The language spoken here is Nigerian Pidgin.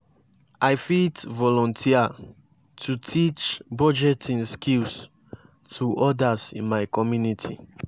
i fit volunteer to teach budgeting skills to others in my community.